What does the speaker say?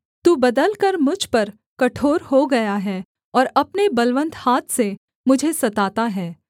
तू बदलकर मुझ पर कठोर हो गया है और अपने बलवन्त हाथ से मुझे सताता हे